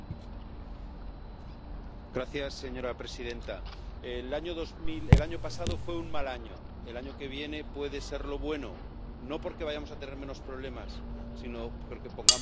Señora presidenta, el año pasado fue un mal año, el año que viene puede serlo bueno, no porque vayamos a tener menos problemas, sino porque pongamos más voluntad en las soluciones.